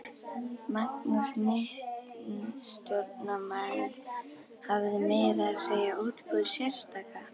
Magnús miðstjórnarmaður hafði meira að segja útbúið sérstaka